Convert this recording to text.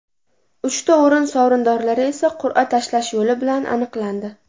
Uchta o‘rin sovrindorlari esa qur’a tashlash yo‘li bilan aniqlandi.